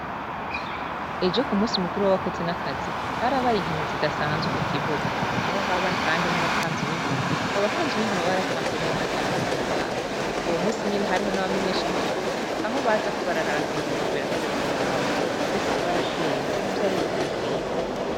Ejo ku munsi mukuru w'abakozi n'akazi harabaye inkino zidasanzwe ku kibuga, aho haba kandi n'abatamvyi b'ingoma. Abo batamvyi b'ingoma baratamvye neza kandi bihimbaye. Uwo munsi nyene, hariho n'abamenyeshamakuru, aho baza bararaba ibintu biriko birakorewa ngaho. Twese twarashimye kuko vyari ibintu biteye igomwe.